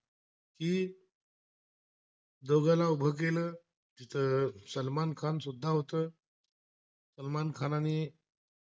दोघाला उभं केलं, तर सलमान खान भी होतं, सलमान खानाने नी